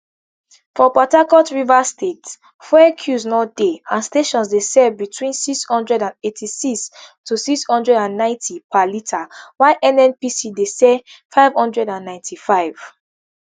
for port harcourt rivers state fuel queues no dey and stations dey sell between nsix hundred and eighty-six to nsix hundred and ninety per litre while nnpc dey sell nfive hundred and ninety-five